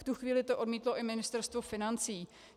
V tu chvíli to odmítlo i Ministerstvo financí.